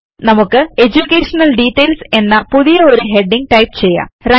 വരൂ നമുക്ക് education details എന്ന പുതിയ ഒരു ഹെഡിംഗ് ടൈപ്പ് ചെയ്യാം